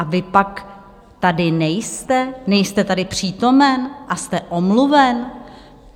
A vy pak tady nejste, nejste tady přítomen a jste omluven?